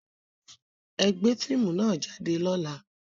Ẹ gbé fíìmù nà jáde lọ́la!